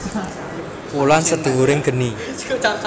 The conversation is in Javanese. Wulan Sedhuwuring Geni